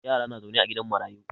Yara na zaune a gidan marayu.